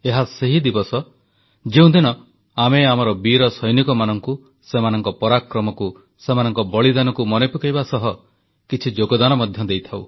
ଏହା ସେହି ଦିବସ ଯେଉଁଦିନ ଆମେ ଆମର ବୀରସୈନିକମାନଙ୍କୁ ସେମାନଙ୍କ ପରାକ୍ରମକୁ ସେମାନଙ୍କ ବଳିଦାନକୁ ମନେପକାଇବା ସହ କିଛି ଯୋଗଦାନ ମଧ୍ୟ ଦେଇଥାଉ